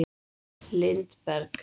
Lindberg